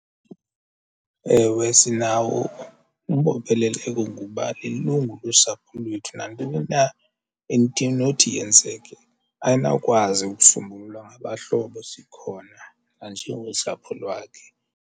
Ewe, sinawo umbopheleleko ngokuba lilungu losapho lwethu, nantoni na into enothi yenzeke ayinawukwazi ukusombulula ngabahlobo sikhona nanjengosapho lwakhe.